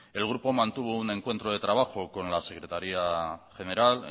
el grupo mantuvo un encuentro de trabajo con la secretaría general